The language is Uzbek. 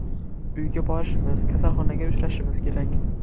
Uyga borishimiz, kasalxonaga uchrashimiz kerak.